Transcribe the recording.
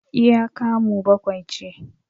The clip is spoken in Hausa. iya kamu bakwai ce